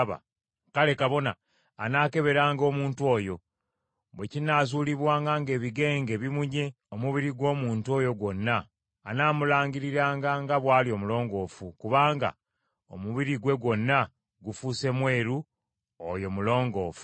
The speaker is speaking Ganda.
kale kabona anaakeberanga omuntu oyo; bwe kinaazuulibwanga ng’ebigenge bibunye omubiri gw’omuntu oyo gwonna, anaamulangiriranga nga bw’ali omulongoofu; kubanga omubiri gwe gwonna gufuuse mweru, oyo mulongoofu.